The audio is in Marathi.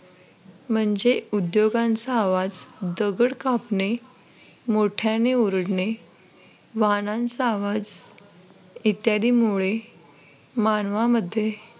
म्हणजे उद्योगांचा आवाज दगड कापणे मोठ्याने ओरडणे वाहनांचा आवाज इत्यादीमुळे मानवामध्ये